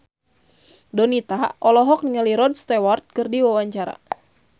Donita olohok ningali Rod Stewart keur diwawancara